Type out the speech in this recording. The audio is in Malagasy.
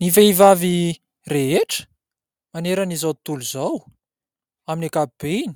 Ny vehivavy rehetra maneran'izao tontolo izao, amin'ny ankapobeny,